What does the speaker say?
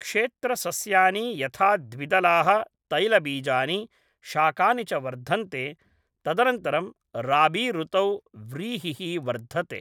क्षेत्रसस्यानि यथा द्विदलाः, तैलबीजानि, शाकानि च वर्धन्ते, तदनन्तरं राबीऋतौ व्रीहिः वर्धते।